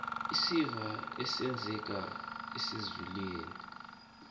isiva esisengalweni kuzwelinzima